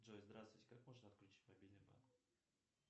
джой здравствуйте как можно отключить мобильный банк